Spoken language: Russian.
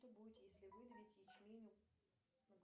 что будет если выдавить ячмень на